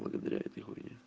благодаря этой хуйне